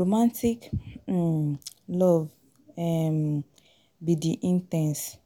Romantic um love um be di in ten se,